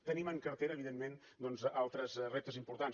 tenim en cartera evidentment doncs altres reptes importants